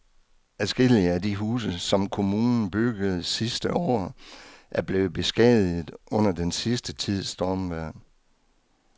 Adskillige af de huse, som kommunen byggede sidste år, er blevet beskadiget under den sidste tids stormvejr.